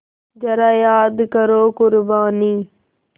ज़रा याद करो क़ुरबानी